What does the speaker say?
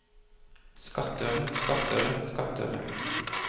skattøre skattøre skattøre